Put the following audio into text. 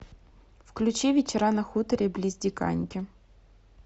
включи вечера на хуторе близ диканьки